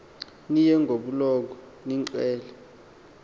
niye ngobulumko niqhel